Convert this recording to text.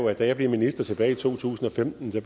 jeg da jeg bliver minister tilbage i to tusind og femten